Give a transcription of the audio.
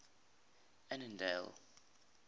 annandale